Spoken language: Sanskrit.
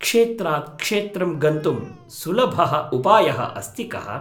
क्षेत्रात् क्षेत्रं गन्तुं सुलभः उपायः अस्ति कः?